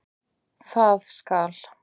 Það skal